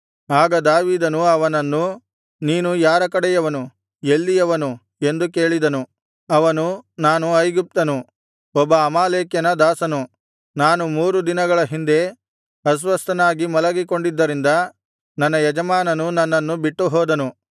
ಆಗ ದಾವೀದನು ಅವನನ್ನು ನೀನು ಯಾರ ಕಡೆಯವನು ಎಲ್ಲಿಯವನು ಎಂದು ಕೇಳಿದನು ಅವನು ನಾನು ಐಗುಪ್ತನು ಒಬ್ಬ ಅಮಾಲೇಕ್ಯನ ದಾಸನು ನಾನು ಮೂರು ದಿನಗಳ ಹಿಂದೆ ಅಸ್ವಸ್ಥನಾಗಿ ಮಲಗಿಕೊಂಡಿದ್ದರಿಂದ ನನ್ನ ಯಜಮಾನನು ನನ್ನನ್ನು ಬಿಟ್ಟುಹೋದನು